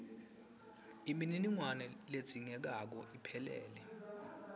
imininingwane ledzingekako iphelele